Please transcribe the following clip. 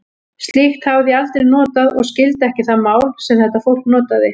Slíkt hafði ég aldrei notað og skildi ekki það mál, sem þetta fólk talaði.